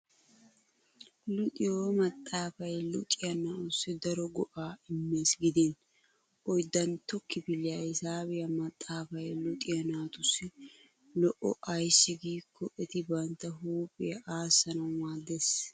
Luxiyo maxxaafay luxiya naa'ussi daro go'aa immes gidin. Oyddantto kifiliya hisaabiya maxxaafay luxiya naatussi lo'o ayssi giikko eti bantta huuphiya aassanawu maaddes.